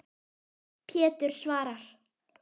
Pétur svarar.